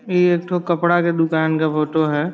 ये एकठो कपड़ा के दुकान का फोटो है।